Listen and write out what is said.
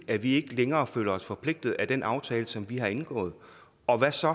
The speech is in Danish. at vi ikke længere føler os forpligtet af den aftale som vi har indgået og hvad så